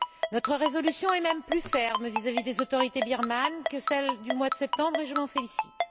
Notre résolution est même plus ferme vis à vis des autorités birmanes que celle du mois de septembre et je m'en félicite.